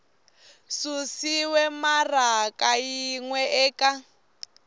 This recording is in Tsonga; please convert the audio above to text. susiwe maraka yin we eka